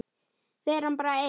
Fer hann bara einn?